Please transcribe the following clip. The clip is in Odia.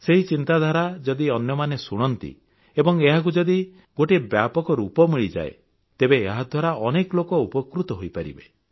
ସେହି ଚିନ୍ତାଧାରା ଯଦି ଅନ୍ୟମାନେ ଶୁଣନ୍ତି ଏବଂ ଏହାକୁ ଯଦି ଗୋଟିଏ ବ୍ୟାପକ ରୂପ ମିଳିଯାଏ ତେବେ ଏହାଦ୍ୱାରା ଅନେକ ଲୋକ ଉପକୃତ ହୋଇପାରିବେ